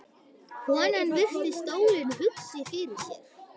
Konan virti stólinn hugsi fyrir sér.